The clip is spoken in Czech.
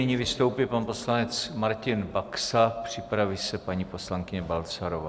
Nyní vystoupí pan poslanec Martin Baxa, připraví se paní poslankyně Balcarová.